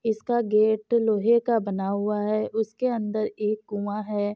इसका गेट लोहे का बना हुआ है उसके अंदर एक कुआँ है।